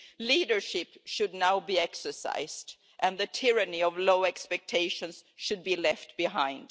Leadership should now be exercised and the tyranny of low expectations should be left behind.